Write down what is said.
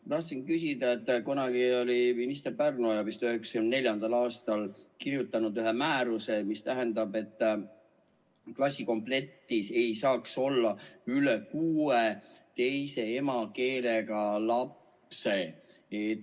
Ma tahtsin küsida, et kunagi oli minister Pärnoja, kes vist 1994. aastal kirjutas ühe määruse, mille kohaselt ei saaks klassikomplektis olla üle kuue teise emakeelega lapse.